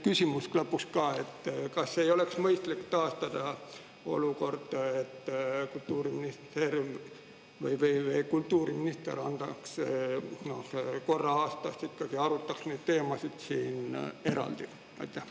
Küsimus lõpuks ka: kas ei oleks mõistlik taastada olukord, kus kultuuriminister korra aastas ikkagi arutaks neid teemasid siin eraldi?